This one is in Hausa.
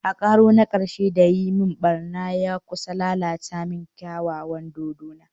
A karo na karshe da ya yi min barna, ya kusa lalata min kyawawan dodona